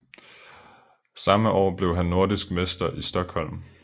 Samme år blev han nordisk mester i Stockholm